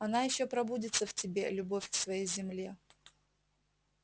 она ещё пробудится в тебе любовь к своей земле